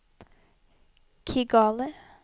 Kigali